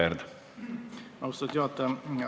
Aitäh, austatud juhataja!